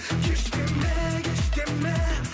кеш деме кеш деме